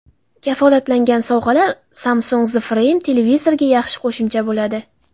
Kafolatlangan sovg‘alar Samsung The Frame televizoriga yaxshi qo‘shimcha bo‘ladi.